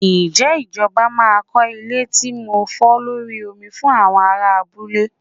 Ṣé ìjọba máa kọ́ ilé tí ń fò lórí omi fún àwọn aráa abúlé?